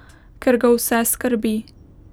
Ker ga vse skrbi.